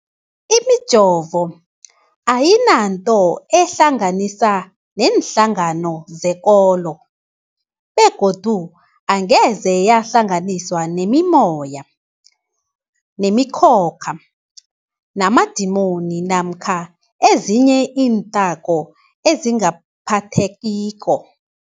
Imijovo ayinanto eyihlanganisa neenhlangano zekolo begodu angeze yahlanganiswa nemimoya, nemi khokha, namadimoni namkha ezinye iinthako ezingaphathekiko.